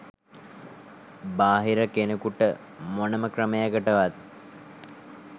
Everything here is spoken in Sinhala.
බාහිර කෙනෙකුට මොනම ක්‍රමයකටවත්